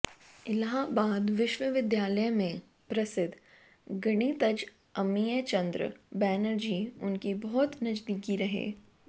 इलाहाबाद विश्वविद्यालय में प्रसिद्ध गणितज्ञ अमिय चन्द्र बनर्जी उनकी बहुत नजदीकी रहे